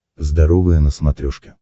здоровое на смотрешке